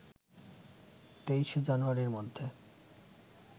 ২৩ জানুয়ারির মধ্যে